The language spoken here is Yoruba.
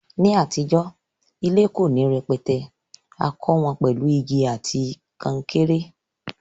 Ní àtijó, ilé ko ni rẹpẹtẹ, a kó won pèlu igi àti kankéré